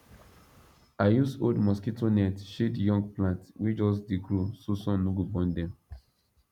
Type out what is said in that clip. i use old mosquito net shade young plants wey just dey grow so sun no go burn dem